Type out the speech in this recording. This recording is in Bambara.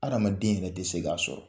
Adamaden yɛrɛ tɛ se k'a sɔrɔ.